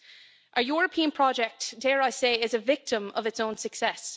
The European project, dare I say, is a victim of its own success.